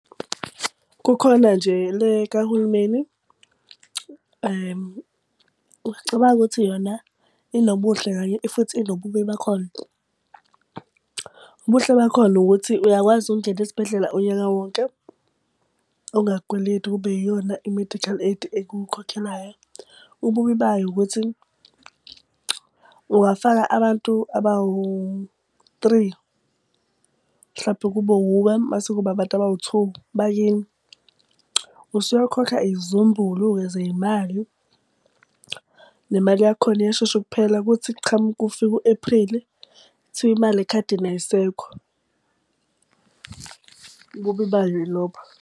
Kukhona nje le kahulumeni uyacabanga ukuthi yona inobuhle kanye futhi inobubi bakhona. Ubuhle bakhona ukuthi uyakwazi ukungena esibhedlela unyaka wonke, ungakweleti kube yiyona i-medical aid ekukhokhelayo. Ububi bayo ukuthi ungafaka abantu abawu-three mhlawumpe kube wuwe mase kuba abantu abawu-two bakini, usuyokhokha izizumbulu-ke zey'mali. Nemali yakhona iyashesha ukuphela kuthi kufika u-Apreli, kuthiwa imali ekhadini ayisekho. Ububi bayo yilobo.